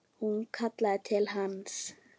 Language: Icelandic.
Hún kallaði til hans.